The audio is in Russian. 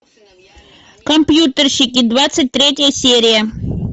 компьютерщики двадцать третья серия